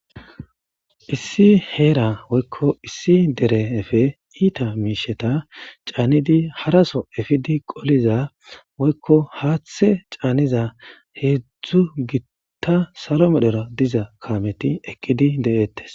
Issi heera woykko issi derefe iita miisheta caanidi haraso efidi qoliza woyikko haaththe caaniza heezu gitta salo medhera diza kaameti ekkidi de'ettes